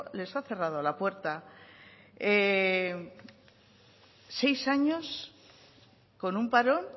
les ha cerrado la puerta seis años con un parón